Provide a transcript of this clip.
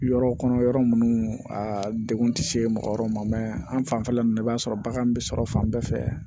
Yɔrɔ kɔnɔ yɔrɔ minnu a degun tɛ se mɔgɔ wɛrɛ ma an fanfɛla ninnu na i b'a sɔrɔ bagan bɛ sɔrɔ fan bɛɛ fɛ